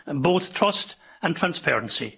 both trust and transparency.